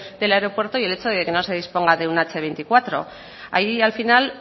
del aeropuerto y el hecho de que no se disponga de un hache veinticuatro hay al final